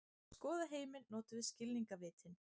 Til að skoða heiminn notum við skilningarvitin.